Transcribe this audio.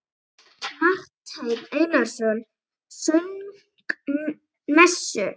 Marteinn Einarsson söng messu.